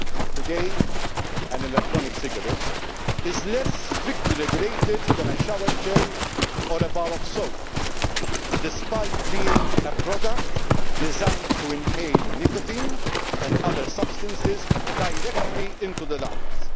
Today an electronic cigarette is less strictly regulated than a shower gel or a bar of soap, despite being a product designed to inhale nicotine and other substances directly into the lungs.